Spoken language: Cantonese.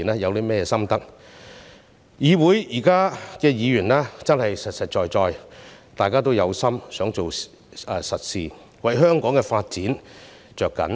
現時議會的議員真的實實在在，大家都有心想做實事，為香港的發展着緊。